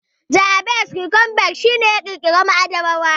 Johannes Gutenberg shi ne ya ƙirƙira maɗaba'a.